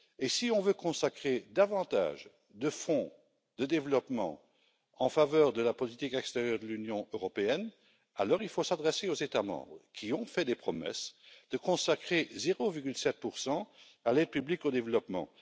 Si on veut consacrer davantage de fonds de développement en faveur de la politique extérieure de l'Union européenne, il faut s'adresser aux États membres qui ont fait des promesses, notamment de consacrer 0,7 à l'aide publique au développement.